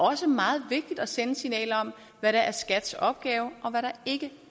også meget vigtigt at sende et signal om hvad der er skats opgave og hvad der ikke